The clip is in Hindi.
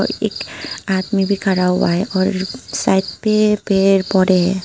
एक आदमी भी खड़ा हुआ है और साइड पे पड़े पौदे है।